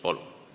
Palun!